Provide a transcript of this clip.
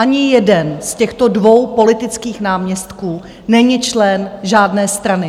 Ani jeden z těchto dvou politických náměstků není člen žádné strany.